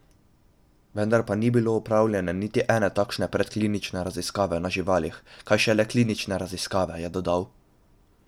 Vendar pa ni bilo opravljene niti ene takšne predklinične raziskave na živalih, kaj šele klinične raziskave, je dodal.